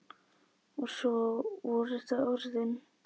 Og svo voru það orðin.